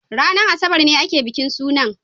ranar Asabar ne ake bikin sunan.